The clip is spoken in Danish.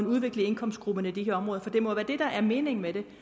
udvikling i indkomstgrupperne i de her områder for det må være det der er meningen med det